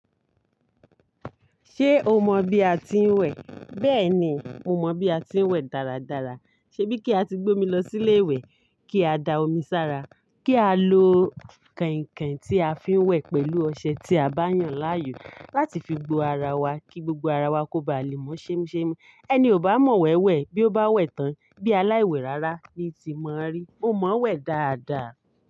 Ṣé o mọ bí a ti ń wẹ̀? Bẹ́ẹ̀ni, mo mọ bí a ti ń wẹ̀ dáradára. Ṣebí kí a ti gbé mi lọ sí ilé ìwẹ̀ kí a da omi sára, kí a lo kànkàn tí a fi ń wẹ̀ pẹ̀lú ọṣẹ tí a bá yàn láàyò láti fi gbó ara wa kí gbogbo ara wa kó ba lè mọ́ ṣhemshem Ẹni ò bá mọ wẹ̀ wẹ̀ bí ó bá wẹ̀ tán bí aláìwẹ̀ rara ni ti mọ rí. MO mọ wẹ̀ dáadáa.